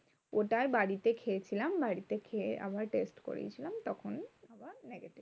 ওটাই বাড়িতে খেয়েছিলাম, বাড়িতে খেয়ে আবার test করিয়েছিলাম তখন এবার negative.